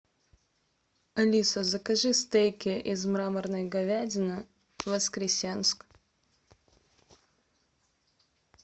алиса закажи стейки из мраморной говядины в воскресенск